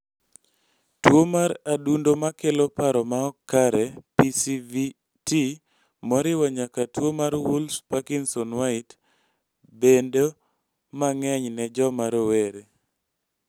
tuo mar adundo ma kelo paro ma ok kare (PSVT), moriwo nyaka tuo mar Wolff-Parkinson-White, bedo mang'eny ne joma rowere.